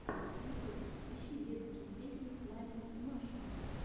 ютьюб ищи детские песни с майей и машей